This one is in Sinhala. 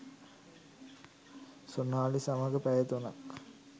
සොනාලි සමඟ පැය තුනක්